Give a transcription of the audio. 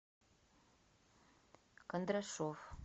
кондрашов